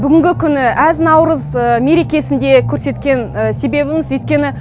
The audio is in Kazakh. бүгінгі күні әз наурыз мерекесінде көрсеткен себебіміз өйткені